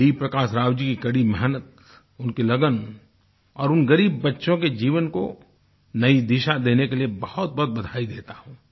में डी प्रकाश राव की कड़ी मेहनत उनकी लगन और उन ग़रीब बच्चों के जीवन को नयी दिशा देने के लिए बहुतबहुत बधाई देता हूँ